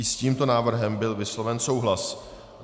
I s tímto návrhem byl vysloven souhlas.